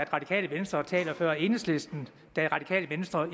radikale venstre taler før enhedslisten da det radikale venstre